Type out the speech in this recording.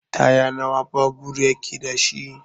Taya nawa babur yake dashi?